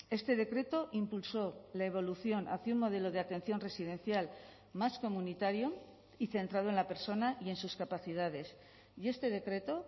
este decreto impulsó la evolución hacia un modelo de atención residencial más comunitario y centrado en la persona y en sus capacidades y este decreto